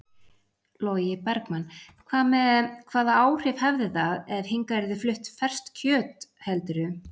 Logi Bergmann: Hvað með, hvaða áhrif hefði það ef hingað yrði flutt ferskt kjöt heldurðu?